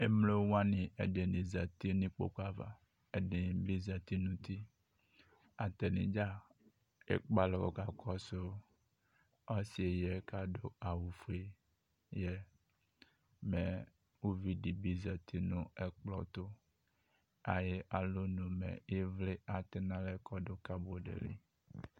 Emlo wane ɛdene zati no ukpoku ava, ɛdene be zati no uti Atadza ekpe alɔ ka kɔɔso ɔse yɛ ko ado awufue alɔ yɛ Mɛ uvi de zati no ɛkplɔ to Aye alɔnu me evle atɛ no alɛ kɔdo kabɔdi li